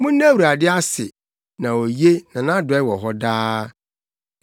Monna Awurade ase na oye; na nʼadɔe wɔ hɔ daa.